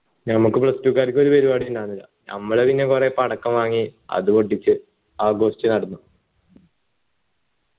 ഞമ്മക്ക് commerce ക്കാർക്ക് ഒരു പരിപാടി ഉണ്ടായിരുന്നില്ല ഞമ്മള് പിന്നെ കുറെ പടക്കം വാങ്ങി അത് പൊട്ടിച്ച് ആഘോഷിച്ചു നടന്നു